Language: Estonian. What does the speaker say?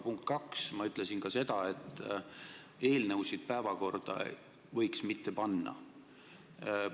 Punkt kaks, ma ütlesin aga ka seda, et eelnõusid võiks mitte päevakorda panna.